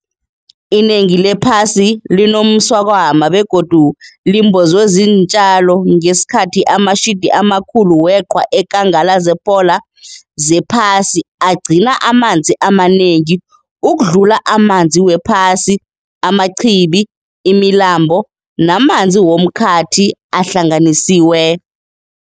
Inengi lephasi linomswakama begodu limbozwe ziintjalo, ngesikhathi amashidi amakhulu weqhwa eenkangala ze-polar zephasi agcina amanzi amanengi ukudlula amanzi wephasi, amachibi, imilambo namanzi womkhathi ahlanganisiwe.